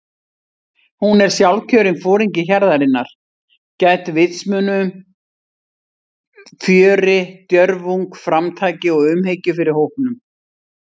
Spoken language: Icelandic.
Hún er sjálfkjörinn foringi hjarðarinnar- gædd vitsmunum, fjöri, djörfung, framtaki og umhyggju fyrir hópnum.